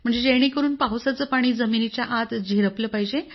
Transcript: जेणेकरून पावसाचं पाणी जमिनीच्या आत झिरपलं पाहिजे